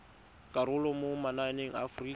karolo mo mananeng a aforika